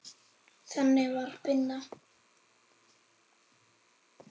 Þannig var Binna.